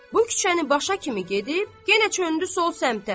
Bu küçəni başa kimi gedib, yenə çöndü sol səmtə.